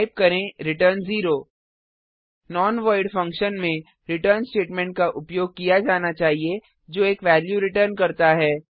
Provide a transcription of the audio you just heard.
type करें return 0 non void function में return statement का उपयोग किया जाना चाहिए जो एक वेल्यू रिटर्न करता है